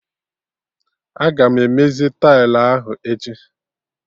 Aga m emezi tailụ ahụ echi